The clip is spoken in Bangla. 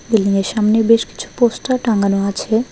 বিল্ডিংয়ের সামনে বেশ কিছু পোস্টার টাঙানো আছে।